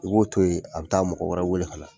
I b'o to ye a bɛ taa mɔgɔ wɛrɛ wele ka na.